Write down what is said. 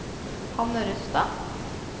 Hanne Rustad